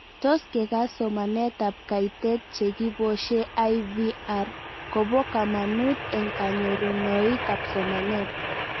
Tos kekas somanet ab kaitet che kiposhe IVR kopo kamanut eng' kanyorunoik ab somanet